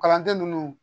Kalanden ninnu